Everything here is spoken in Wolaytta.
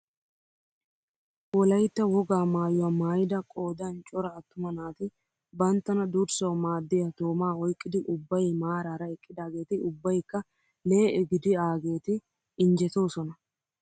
Wolayttaa wogaa mayuwaa maayida qoodan cora attuma naati banttana durssawu maaddiyaa toomaa oyqqidi ubbay maarara eqqidaageti ubbaykka lee'e gidiaageti injjetoosona.